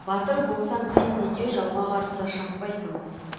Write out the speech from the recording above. батыр болсаң сен неге жауға қарсы шаппайсың